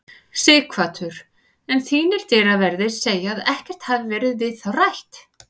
Sighvatur: En þínir dyraverðir segja að ekkert hafi verið við þá rætt?